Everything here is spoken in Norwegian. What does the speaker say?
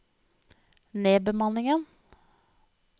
nedbemanningen